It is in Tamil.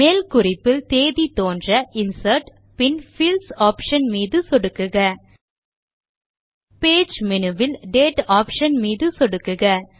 மேல் குறிப்பில் தேதி தோன்ற இன்சர்ட் பின் பீல்ட்ஸ் ஆப்ஷன் மீது சொடுக்குக பேஜ் மேனு வில் டேட் ஆப்ஷன் மீது சொடுக்குக